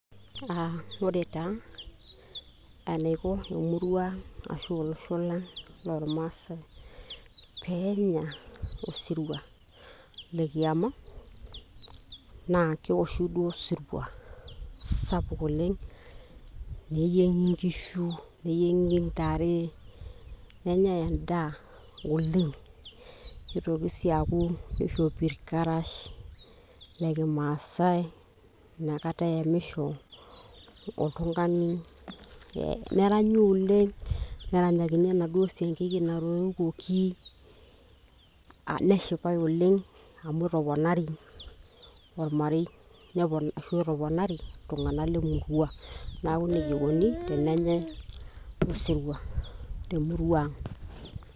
uh, ore taa enaiko emurua ashu olosho lang' lormaasae peenya osirua lekiama naa kewoshi duo osirua sapuk oleng' neyieng'i inkishu neyieng'i intare nenyae endaa oleng' nitoki sii aaku kishopi irkarash lekimaasae inakata eyamisho oltung'ani neranyi oleng' neranyakini enaduo siankiki natorikuoki neshipae oleng' amu etoponari ormarei ashu etoponari iltung'anak lemurua naaku nejia eikoni tenenyae osirua temurua ang'.